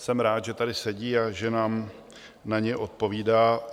Jsem rád, že tady sedí a že nám na ně odpovídá.